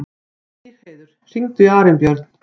Stígheiður, hringdu í Arnbjörn.